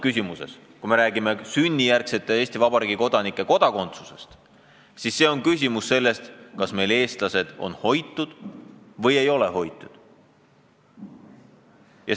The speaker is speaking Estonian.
Kui me räägime sünnijärgsete Eesti Vabariigi kodanike kodakondsusest, siis on küsimus selles, kas me hoiame oma inimesi või ei hoia.